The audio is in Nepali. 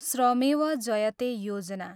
श्रमेव जयते योजना